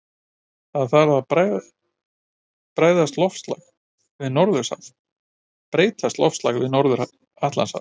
Við það breytist loftslag við Norður-Atlantshaf.